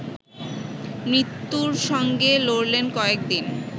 মৃত্যুর সঙ্গে লড়লেন কয়েক দিন